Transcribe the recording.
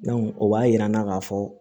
o b'a yira an na k'a fɔ